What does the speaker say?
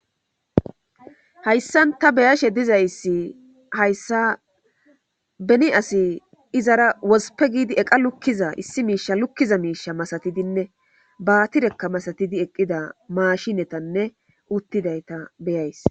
Hayssan ta beyashe dizayssi hayssa beni asi izara wospe giidi eqa lukkiza issi miisha lukkiza miisha masatidinne baatirekka masatidi eqqida maashinetanne uttidayta beyays.